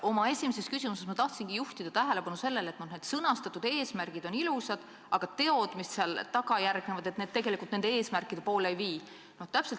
Oma esimeses küsimuses ma tahtsingi juhtida tähelepanu sellele, et sõnastatud eesmärgid on ilusad, aga teod, mis järgnevad, tegelikult nende eesmärkide poole ei vii.